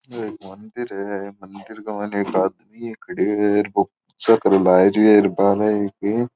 मंदिर है मंदिर के मायने एक आदमी खड़े है पूजा करे लागरो है डिब्बा में --